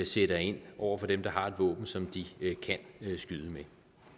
sætter ind over for dem der har et våben som de kan skyde med